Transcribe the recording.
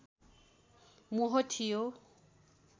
मोह थियो